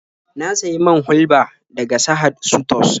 Na sayi man hulɓa daga Sahad sutos.